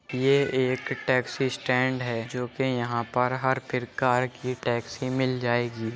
यह एक taxi stand है जो कि यहाँ पर हर प्रकार की टैक्सी मिल जाएगी।